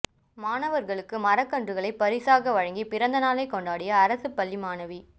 மாணவர்களுக்கு மரக்கன்றுகளை பரிசாக வழங்கி பிறந்த நாளை கொண்டாடிய அரசுப் பள்ளி மாணவி